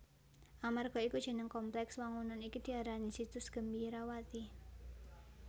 Amarga iku jeneng komplèks wangunan iki diarani Situs Gembirawati